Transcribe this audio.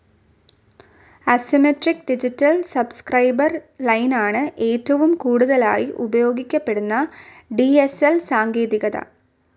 Asymmetric digital subscriber ലൈനാണ് ഏറ്റവും കുടുതലായി ഉപയോഗിക്കപ്പെടുന്ന ഡി സ്‌ ൽ സാങ്കേതികത.